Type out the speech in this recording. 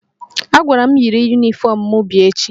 A gwara mụ yiri yunifọmụ m bịa echi